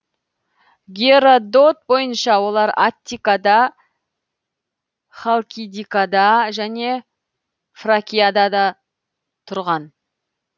геродот бойынша олар аттикада халкидикада және фракияда да тұрған